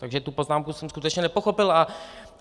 Takže tu poznámku jsem skutečně nepochopil.